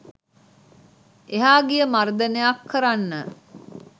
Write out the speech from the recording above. එහා ගිය මර්දනයක් කරන්න